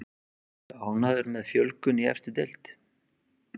Ertu ánægður með fjölgun í efstu deild?